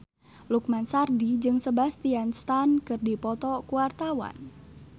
Lukman Sardi jeung Sebastian Stan keur dipoto ku wartawan